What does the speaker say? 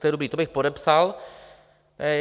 To je dobré, to bych podepsal.